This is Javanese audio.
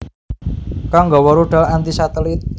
kang nggawa rudal anti satelit